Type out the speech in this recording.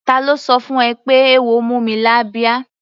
Ta ló sọ fún ẹ pé eéwo mú mi lábíá?